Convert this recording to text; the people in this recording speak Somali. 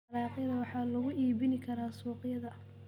Dalagyada waxaa lagu iibin karaa suuqa.